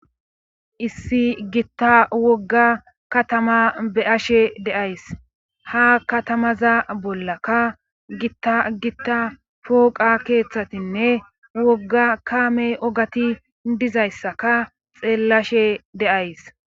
issi gitta wogga katama be7ashe deays ha katamaza bollakka gitta gitta pooqa keeththatinne wogga kaame ogati dizayssaka xeellashe de7ays